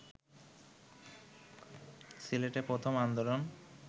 সিলেটে প্রথম আন্দোলন